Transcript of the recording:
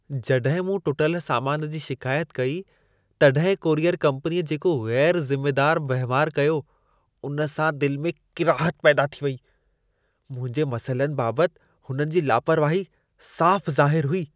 जॾहिं मूं टुटल सामान जी शिकायत कई तॾहिं कूरियर कंपनीअ जेको ग़ैरु ज़िमेदारु वहिंवारु कयो, उन सां दिलि में किराहत पैदा थी वेई। मुंहिंजे मसइलनि बाबति हुननि जी लापरवाही साफ़ ज़ाहिरु हुई।